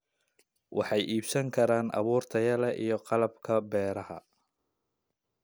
Waxay iibsan karaan abuur tayo leh iyo qalabka beeraha.